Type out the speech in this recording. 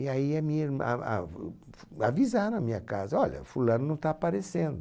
E aí a minha ah, ah, avisaram a minha casa, olha, fulano não está aparecendo.